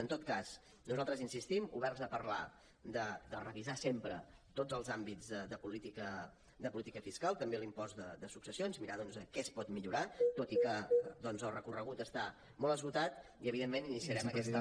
en tot cas nosaltres hi insistim oberts a parlar de revisar sempre tots els àmbits de política fiscal també l’impost de successions mirar doncs què es pot millorar tot i que el recorregut està molt esgotat i evidentment iniciarem aquesta